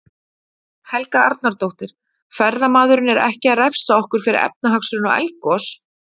Helga Arnardóttir: Ferðamaðurinn er ekki að refsa okkur fyrir efnahagshrun og eldgos?